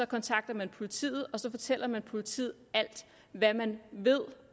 kontakter man politiet og så fortæller man politiet alt hvad man ved